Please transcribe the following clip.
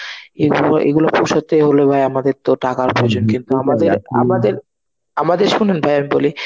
এগুলো~ এগুলো পৌঁছাতে হলে ভাই আমাদের তো টাকার প্রয়োজন. কিন্তু আমাদের আমাদের~ আমাদের শোনেন ভাই বলি,